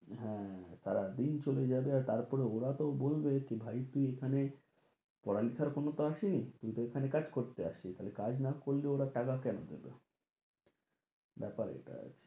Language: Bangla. হ্যাঁ, সারাদিন চলে যাবে তারপরে ওরা তো বলবে ভাই তুই এখানে পড়ালেখার জন্য তো আসিসনি তুই তো এখানে কাজ করতে আসিস, তাহলে কাজ না করলে ওরা টাকা কেন দেবে ব্যাপার এটা আছে